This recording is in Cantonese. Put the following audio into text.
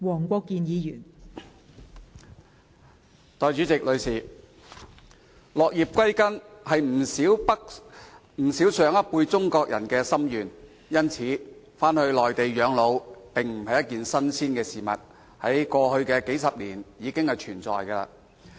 代理主席，落葉歸根是不少上一輩中國人的心願，因此，返回內地養老並非新事，而是過去數十年來一直存在的事情。